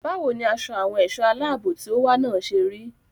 Báwo ni aṣọ àwọn ẹ̀ṣọ́ aláàbò tí ó wà náà ṣe rí?